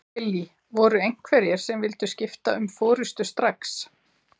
Lillý: Voru einhverjir sem vildu skipta um forystu strax?